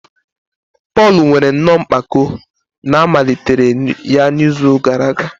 Pọl nwere nnọọ mpako na a malitere ya n'izu gara aga.